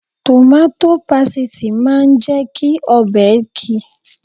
Tòmátò pasìtì máa ń jẹ́ kí ọbẹ̀ ki